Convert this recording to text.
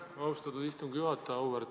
Aitäh, austatud istungi juhataja!